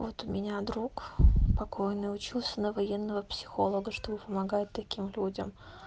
вот у меня друг покойный учился на военного психолога чтобы помогать таким людям